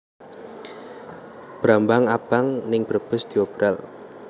Brambang abang ning Brebes diobral